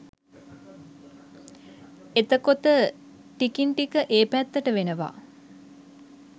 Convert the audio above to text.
එතකොත ටිකින් ටික ඒ පැත්තටවෙනව